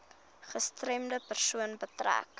gestremde persoon beteken